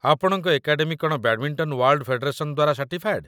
ଆପଣଙ୍କ ଏକାଡେମୀ କ'ଣ badminton world federation ଦ୍ୱାରା ସାର୍ଟିଫାଏଡ଼୍?